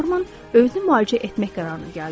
Norman özünü müalicə etmək qərarına gəldi.